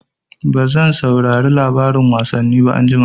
Bazan saurari labarin wasanni ba anjima.